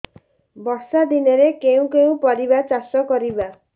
ବର୍ଷା ଦିନରେ କେଉଁ କେଉଁ ପରିବା ଚାଷ କରିବା